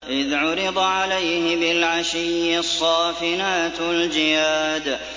إِذْ عُرِضَ عَلَيْهِ بِالْعَشِيِّ الصَّافِنَاتُ الْجِيَادُ